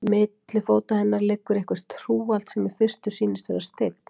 Milli fóta hennar liggur eitthvert hrúgald, sem í fyrstu sýnist vera steinn.